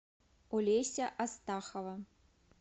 олеся астахова